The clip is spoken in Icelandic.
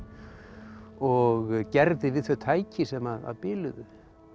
og gerði við þau tæki sem að biluðu